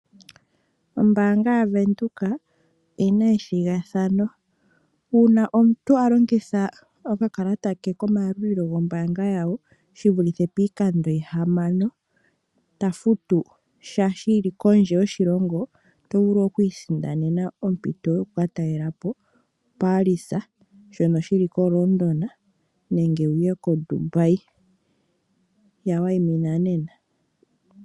Ombaanga yaVenduka oyina ethigathano, uuna omuntu a longitha okakalata ke komayalulilo gombaanga yawo shivulithe piikando yihamano ta futu sha shili kondje yoshilongo, ota vulu okwiisindanena ompito yoku ka talelapo Paris shono shili koLondon nenge wu ye ko Dubai. Ya waimina nena.